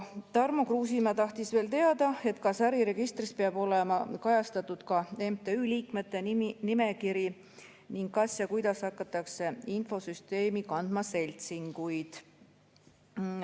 Tarmo Kruusimäe tahtis teada, kas äriregistris peab olema kajastatud ka MTÜ liikmete nimekiri ning kas ja kuidas hakatakse infosüsteemi kandma seltsinguid.